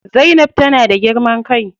Zainab tana da girman kai.